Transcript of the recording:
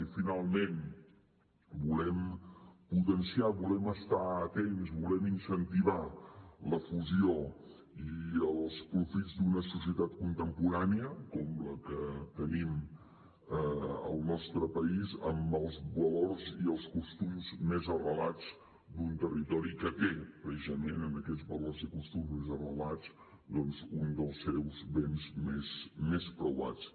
i finalment volem potenciar volem estar atents volem incentivar la fusió i els profits d’una societat contemporània com la que tenim al nostre país amb els valors i els costums més arrelats d’un territori que té precisament en aquests valors i costums arrelats un dels seus béns més preuats